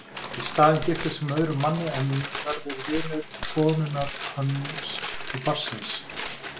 Í staðinn giftist hún öðrum manni en verður vinur konunnar hans og barnsins.